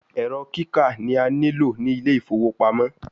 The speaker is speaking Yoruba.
Ẹrọ kika ni a nilo ni Ile ifowo pamo